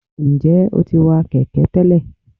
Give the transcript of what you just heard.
njẹ o ti wa kẹkẹ tẹlẹ?